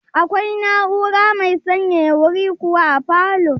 Akwai na'ura mai sanyaya wuri kuwa a falow?